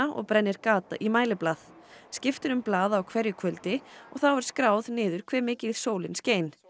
og brennir gat í mæliblað skipt er um blað á hverju kvöldi og þá er skráð niður hve mikið sólin skein